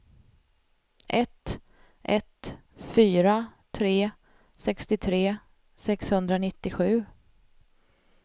ett ett fyra tre sextiotre sexhundranittiosju